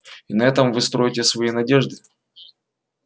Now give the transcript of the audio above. и на этом вы строите свои надежды